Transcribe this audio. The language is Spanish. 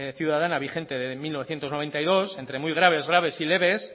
ciudadana vigente desde mil novecientos noventa y dos entre muy graves graves y leves